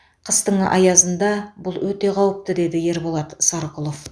қыстың аязында бұл өте қауіпті деді ерболат сарқұлов